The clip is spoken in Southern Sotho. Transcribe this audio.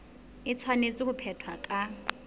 e tshwanetse ho phethwa ka